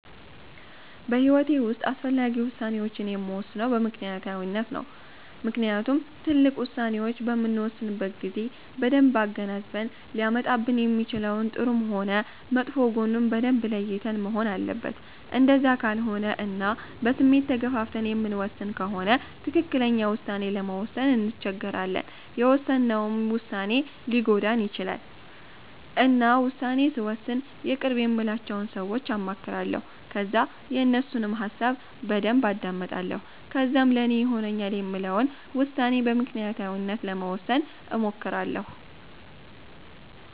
በሂዎቴ ዉስጥ አስፈላጊ ውሳኔወቺን የምወስነው በምክኒያታዊነት ነው። ምክንያቱም ትልቅ ዉሳኔዎች በምንወስንበት ጊዜ በደንብ አገናዝበን ሊያመጣብን የሚችለውን ጥሩም ሆነ መጥፎ ጎኑን በደንብ ለይተን መሆን አለበት እንደዛ ካልሆነ እና በስሜት ተገፋፍተን የምንወስን ከሆነ ትክክለኛ ዉሳኔ ለመወሰን እንቸገራለን የውሰነውም ዉሳኔ ሊጎዳን ይቺላል። እና ዉሳኔ ስወስን የቅርብ የምላቸውን ሰወች አማክራለሁ ከዛ የነሱንም ሀሳብ በደንብ አዳምጣለሁ ከዛም ለኔ ይሆነኛል የምለውን ዉሳኔ በምክኒያታዊነት ለመወሰን እሞክራለሁ